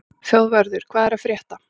Þjóðvarður, hvað er að frétta?